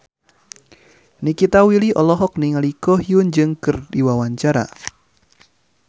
Nikita Willy olohok ningali Ko Hyun Jung keur diwawancara